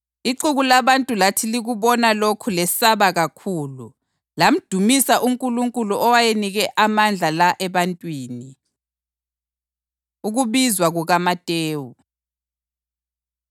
Kwathi uJesu eseqhubeka esuka lapho, wabona indoda eyayithiwa nguMatewu ihlezi endaweni yokuthelisa. UJesu wathi kuyo “Ngilandela,” uMatewu wahle wasukuma wamlandela.